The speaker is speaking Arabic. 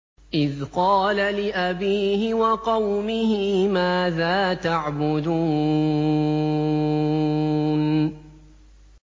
إِذْ قَالَ لِأَبِيهِ وَقَوْمِهِ مَاذَا تَعْبُدُونَ